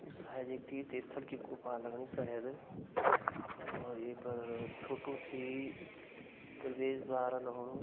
यु शायद एक तीर्थ स्थल की गुफा लगणी शायद और ये पर छोटू सी प्रवेशद्वार लग्णू।